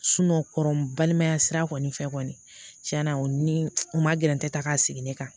kɔrɔbalimaya sira kɔni fɛ kɔni cɛn na o ni u ma gɛrɛntɛ ta ka sigi ne kan